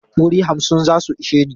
Wuri hamsin za su ishe ni.